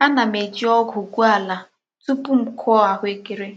Ana m ejiogu gwuo ala tupu m kuo ahuekere.